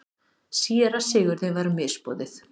Síra Sigurði var misboðið.